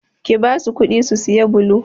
Ki basu kuɗi su saya blo!